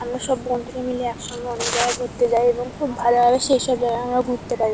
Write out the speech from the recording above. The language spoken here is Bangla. আমরা সব বন্ধুরা মিলে একসঙ্গে অনেক জায়গায় ঘুরতে যাই এবং খুব ভালোভাবে সেইসব জায়গা ঘুরতে পারি ।